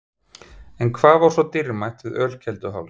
En hvað er svo dýrmætt við Ölkelduháls?